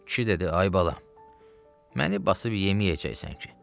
Kişi dedi: Ay bala, məni basıb yeməyəcəksən ki?